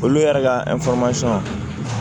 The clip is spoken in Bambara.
Olu yɛrɛ ka